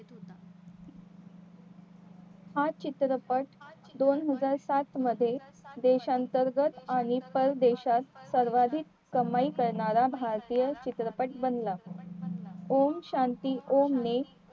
हा चित्रपट दोनहजार सात मध्ये देशांतर्गत आणि परदेशात सर्वाधिक कमाई करणारा भारतीय चित्रपट बनला ओम शांती ओम ने